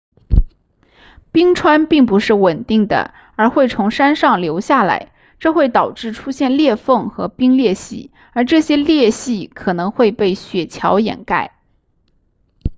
冰川并不是稳定的而会从山上流下来这会导致出现裂缝和冰裂隙而这些裂隙可能会被雪桥掩盖